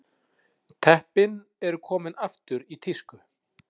Teppin eru komin aftur í tísku